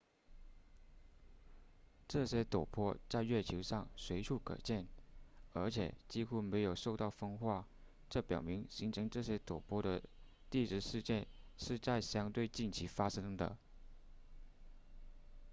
这些陡坡在月球上随处可见而且几乎没有受到风化这表明形成这些陡坡的地质事件是在相对近期发生的